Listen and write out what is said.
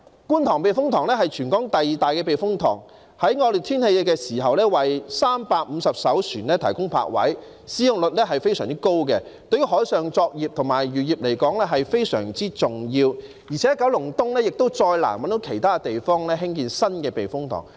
觀塘避風塘是全港第二大的避風塘，在惡劣天氣時為350艘船提供泊位，使用率非常高，對於海上作業和漁業非常重要，而且九龍東亦再難找到其他地方興建新的避風塘。